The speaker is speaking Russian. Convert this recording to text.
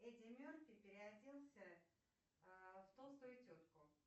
эди мерфи переоделся в толстую тетку